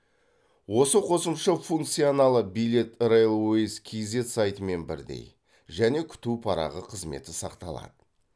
осы қосымша функционалы билет рейлвэйс кизет сайтымен бірдей және күту парағы қызметі сақталады